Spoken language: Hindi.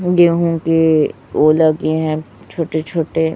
होंगे होंगे ओला के हैं छोटे छोटे--